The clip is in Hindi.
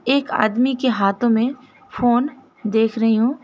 एक आदमी के हाथों में फोन देख रही हूं।